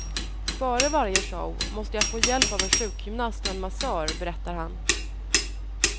Före varje show måste jag få hjälp av en sjukgymnast och en massör, berättar han.